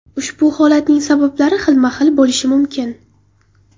Ushbu holatning sabablari xilma-xil bo‘lishi mumkin.